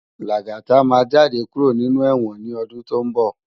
Lagata má jàdé kúró ninú èwòn ni òdún tó n bò